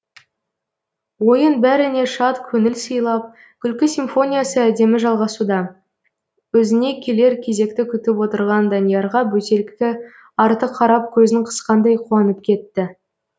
ойын бәріне шат көңіл сыйлап күлкі симфониясы әдемі жалғасуда өзіне келер кезекті күтіп отырған даниярға бөтелкі арты қарап көзін қысқандай қуанып кетті